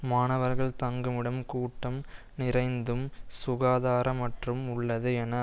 மாணவர்கள் தங்குமிடம் கூட்டம் நிறைந்தும் சுகாதாரமற்றும் உள்ளது என